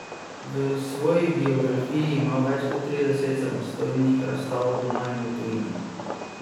V svoji biografiji ima več kot trideset samostojnih razstav doma in v tujini.